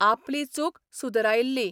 आपली चूक सुदरायल्ली.